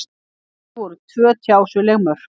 Þar eru tvö tjásuleg mörk.